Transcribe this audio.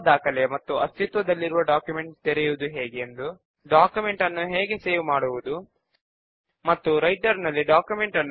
దీని కొరకు మనము బాగా తెలిసిన లైబ్రరీ డేటా బేస్ ఉదాహరణను తీసుకుందాము